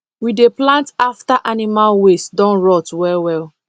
we dey plant after animal waste don rot well well